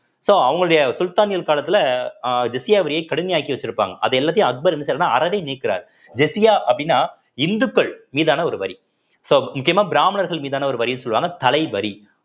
so அவங்களுடைய சுல்தானியல் காலத்துல அஹ் ஜிஸ்யா வரியை கடுமையாக்கி வச்சிருப்பாங்க அது எல்லாத்தையும் அக்பர் என்ன செய்யறாருன்னா அறவே நீக்குறாரு ஜிஸ்யா அப்படின்னா இந்துக்கள் மீதான ஒரு வரி so முக்கியமா பிராமணர்கள் மீதான ஒரு வரின்னு சொல்லுவாங்க தலைவரி